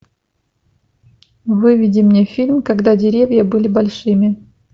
выведи мне фильм когда деревья были большими